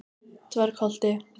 Dvergholti